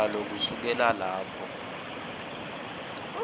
yalo kusukela lapho